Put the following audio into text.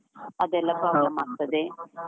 ಅದೆಲ್ಲ ಆಗ್ತದೆ.